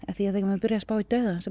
því að þegar maður byrjar að spá í dauðann